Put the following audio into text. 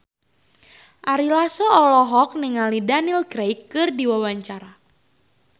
Ari Lasso olohok ningali Daniel Craig keur diwawancara